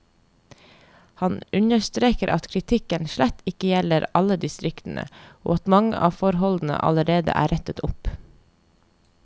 Han understreker at kritikken slett ikke gjelder alle distriktene, og at mange av forholdene allerede er rettet opp.